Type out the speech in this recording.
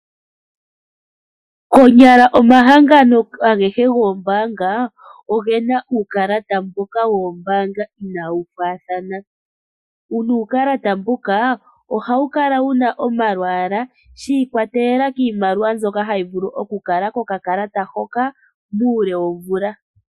Konyala omahangano agehe goombanga ogena uukalata mbuka woombanga inawu faathana nuukalata mbuka ohawu kala wuna omalwaalwa shi kwa telelela kiimaliwa mbyoka hayi vulu oku kala kokakalata hoka uule womvula.